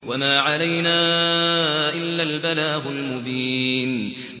وَمَا عَلَيْنَا إِلَّا الْبَلَاغُ الْمُبِينُ